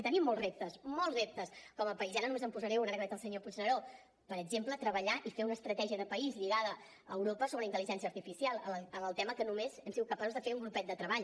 i tenim molts reptes molts reptes com a país i ara només en posaré un ara que veig el senyor puigneró per exemple treballar i fer una estratègia de país lligada a europa sobre intel·ligència artificial en el tema que només hem sigut capaços de fer un grupet de treball